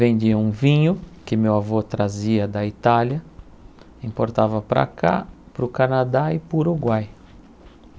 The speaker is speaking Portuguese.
Vendiam vinho que meu avô trazia da Itália, importava para cá, para o Canadá e para o Uruguai.